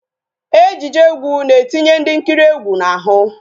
Ejije egwu na-etinye ndị nkiri egwu n'ahụ